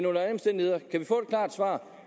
under alle omstændigheder få et klart svar